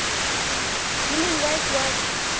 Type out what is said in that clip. human rights watch